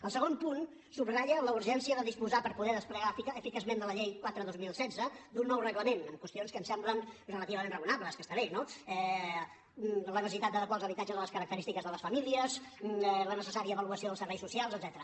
el segon punt subratlla la urgència de disposar per poder desplegar eficaçment la llei quatre dos mil setze d’un nou reglament amb qüestions que ens semblen relativament raonables que estan bé no la necessitat d’adequar els habitatges a les característiques de les famílies la necessària avaluació dels serveis socials etcètera